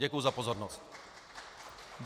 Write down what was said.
Děkuji za pozornost.